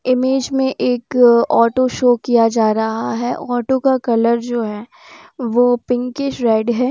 Image में एक auto show किया जा रहा है ऑटो का कलर जो है वो पिंकिश रेड है।